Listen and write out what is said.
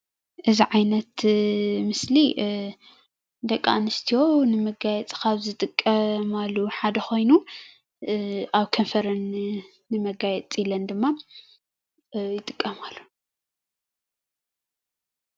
እዚ ዓይነት ምስሊ ደቂ አንስትዮ ንመጋየፂ ካብዝጥቀማሉ ሓደ ኮይኑ አበ ከንፈረን ንመጋየፂ ኢለን ድማ ይጥቀማሉ፡፡